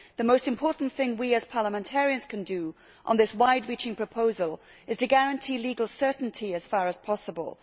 The most important thing we, as parliamentarians, can do on this wide reaching proposal is to guarantee legal certainty as far as possible.